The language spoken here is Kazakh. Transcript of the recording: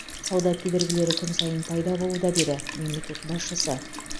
сауда кедергілері күн сайын пайда болуда деді мемлекет басшысы